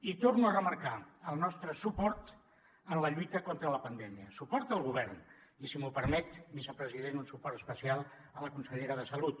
i torno a remarcar el nostre suport en la lluita contra la pandèmia suport al govern i si m’ho permet vicepresident un suport especial a la consellera de salut